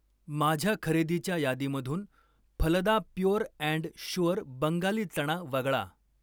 माझ्या खरेदीच्या यादीमधून Phalada pure and sure Bengali चणा वगळा.